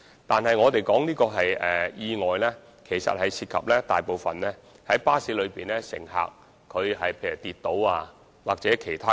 但是，我們所指的意外，其實大部分涉及巴士乘客，例如有乘客跌倒或其他情況。